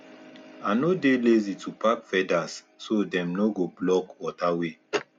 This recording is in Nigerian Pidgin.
i no dey lazy to pack feathers so dem no go block water way